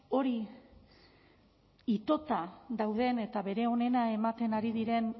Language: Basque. hori itota dauden eta bere onena ematen ari diren